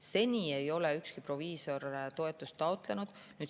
Seni ei ole ükski proviisor toetust taotlenud.